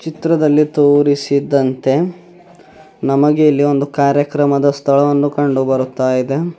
ಚಿತ್ರದಲ್ಲಿ ತೋರಿಸಿದಂತೆ ನಮಗೆ ಇಲ್ಲಿ ಒಂದು ಕಾರ್ಯಕ್ರಮದ ಸ್ಥಳವನ್ನು ಕಂಡು ಬರುತ್ತಾ ಇದೆ.